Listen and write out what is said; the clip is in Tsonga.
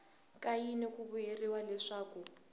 ka yini ku vuriwa leswaku